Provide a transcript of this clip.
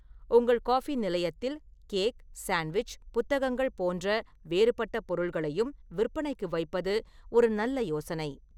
உங்கள் காபி நிலையத்தில் cake, sandwich, புத்தகங்கள் போன்ற வேறுபட்ட பொருள்களையும் விற்பனைக்கு வைப்பது ஒரு நல்ல யோசனை.